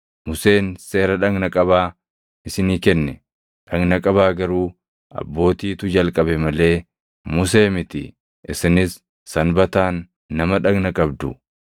Museen seera dhagna qabaa isinii kenne; dhagna qabaa garuu abbootiitu jalqabe malee Musee miti; isinis Sanbataan nama dhagna qabdu.